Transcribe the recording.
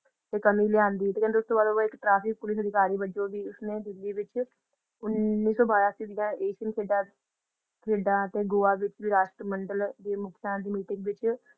ਤੇ ਕਮੀ ਲਿਆਂਦੀ ਤੇ ਕਹਿੰਦੇ ਉਸਤੋਂ ਬਾਅਦ ਉਹ ਇੱਕ ਟ੍ਰੈਫਿਕ ਪੁਲਿਸ ਅਧਿਕਾਰੀ ਵਜੋਂ ਵੀ ਉਸਨੇ ਦਿੱਲੀ ਵਿੱਚ ਉੱਨੀ ਸੌ ਬਿਆਸੀ ਦੀਆਂ ਏਸ਼ੀਅਨ ਖੇਡਾਂ ਖੇਡਾਂ ਤੇ ਗੋਆ ਵਿੱਚ ਰਾਸ਼ਟਰੀ ਮੰਡਲ ਦੀ ਮੁਖੀਆ ਦੀ ਮੀਟਿੰਗ ਵਿੱਚ